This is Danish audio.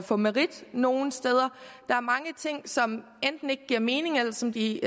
få merit nogle steder der er mange ting som enten ikke giver mening eller som de